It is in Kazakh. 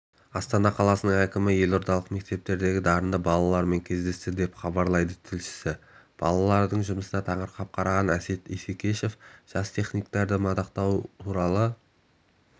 астана қаласының әкімі елордалық мектептердегі дарынды балалармен кездесті деп хабарлайды тілшісі балалардың жұмысына таңырқап қараған әсет исекешев жас техниктерді мадақтау туралы